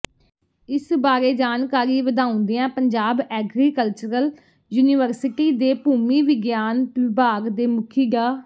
ਇਸ ਬਾਰੇ ਜਾਣਕਾਰੀ ਵਧਾਉਦਿਆਂ ਪੰਜਾਬ ਐਗਰੀਕਲਚਰਲ ਯੂਨੀਵਰਸਿਟੀ ਦੇ ਭੂਮੀ ਵਿਗਿਆਨ ਵਿਭਾਗ ਦੇ ਮੁਖੀ ਡਾ